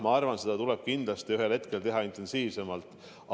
Jah, ma arvan, et seda tuleb kindlasti ühel hetkel hakata tegema intensiivsemalt.